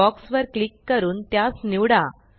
box वर click करून त्यास निवडा